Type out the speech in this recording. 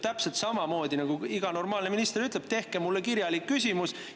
Ta ütleb, ja nii ütleb iga normaalne minister, et esitage kirjalik küsimus.